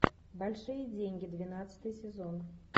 большие деньги двенадцатый сезон